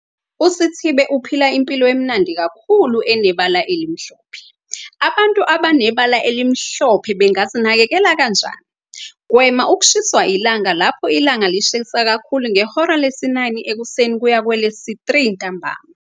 USithibe uphila impilo emnandi kakhulu enebala elimhlophe. Abantu abanebala elimhlophe bangazinakekela kanjani? Gwema ukushiswa ilanga lapho ilanga lishisa kakhulu, ngehora lesi-9 ekuseni kuya kwelesi-3 ntambama.